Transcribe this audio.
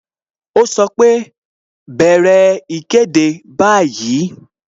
Ó sọ pé "bẹ̀rẹ̀ ìkéde báyìí"